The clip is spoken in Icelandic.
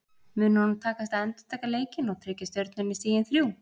Mun honum takast að endurtaka leikinn og tryggja Stjörnunni stigin þrjú?